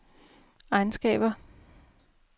egenskaber